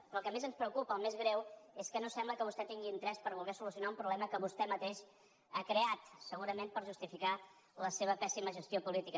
però el que més ens preocupa el més greu és que no sembla que vostè tingui interès a voler solucionar un problema que vostè mateix ha creat segurament per justificar la seva pèssima gestió política